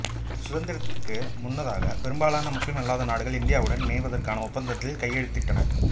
சுதந்திரத்திற்கு முன்னதாக பெரும்பாலான முஸ்லிம் அல்லாத நாடுகள் இந்தியாவுடன் இணைவதற்கான ஒப்பந்தத்தில் கையெழுத்திட்டன